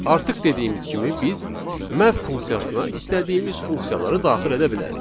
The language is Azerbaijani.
Artıq dediyimiz kimi biz map funksiyasına istədiyimiz funksiyaları daxil edə bilərik.